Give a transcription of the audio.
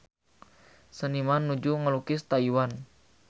Seniman nuju ngalukis Taiwan